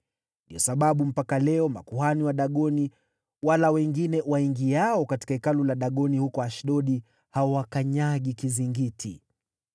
Ndiyo sababu mpaka leo makuhani wa Dagoni wala wengine waingiao katika hekalu la Dagoni huko Ashdodi hawakanyagi kizingiti.